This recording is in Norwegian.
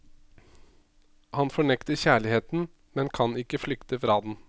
Han fornekter kjærligheten, men kan ikke flykte fra den.